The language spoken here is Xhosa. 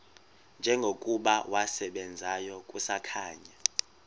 njengokuba wasebenzayo kusakhanya